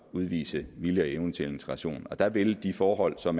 udvise vilje og evne til integration og der vil de forhold som